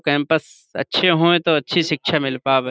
campus اچھی ہوے تو اچھی سکشا مل پاوے --